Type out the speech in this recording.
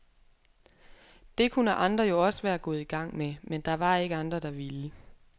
Det kunne andre jo også være gået i gang med, men der var ikke andre, der ville.